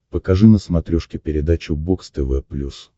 покажи на смотрешке передачу бокс тв плюс